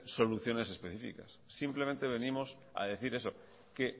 soluciones específicas simplemente venimos a decir eso que